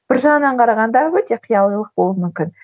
бір жағынан қарағанда өте қиялилық болуы мүмкін